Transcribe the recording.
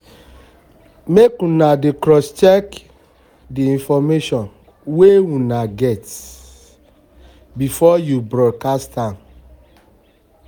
make una dey crosscheck the information the information una get before you broadcast am